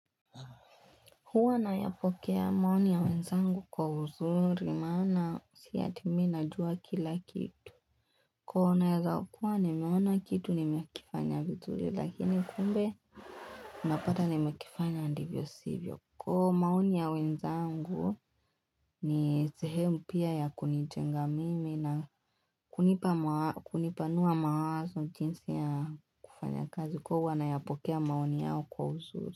Huwa nayapokea maoni ya wenzangu kwa uzuri maana si eti mimi najua kila kitu. Kuwa nawezawakuwa nimeona kitu nimekifanya vizuri lakini kumbe unapata nimekifanya ndivyo sivyo. Kwa hio maoni ya wenzangu ni zehemu pia ya kunijenga mimi na kunipa kunipanua mawazo jinsi ya kufanya kazi. Kwa huwa nayapokea maoni yao kwa uzuri.